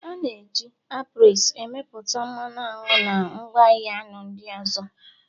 A na-eji apiaries emepụta mmanụ aṅụ na ngwaahịa aṅụ ndị ọzọ.